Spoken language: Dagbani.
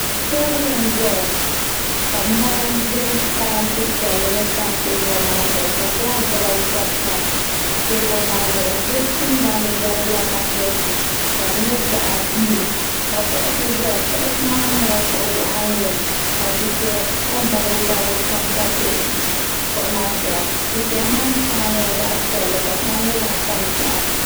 teebuli n ʒɛta ka mɔri bɛ parantɛ piɛlli ni tam teebuli maa zuɣu gilaas dibayi gba pa teebuli maa zuɣu di tingbanni yɛrigila kaapɛti ka di nyɛ zaɣ buluu ka kuɣusi ʒɛya kuɣusi maa nyɛla kuɣu waɣanli ka dufɛya kɔ balibu balibu kam pa kuɣu maa zuɣu dufɛya maa shɛli nyɛla zaɣ piɛlli ka shɛli nyɛ zaɣ tankpaɣu